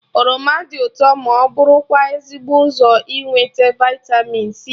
Oroma dị ụtọ ma bụrụkwa ezigbo ụzọ inweta vịtamin c